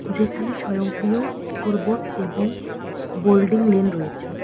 যেখানে স্বয়ংক্রিয় এসকোরবোর্ড এবং বোল্ডিং লেন রয়েছে।